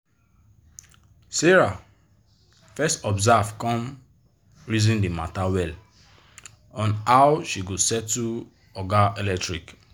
sarah fes observe come reason d matter well on how she go settle oga electric